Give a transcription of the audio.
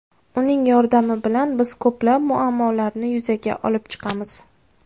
Uning yordami bilan biz ko‘plab muammolarni yuzaga olib chiqamiz.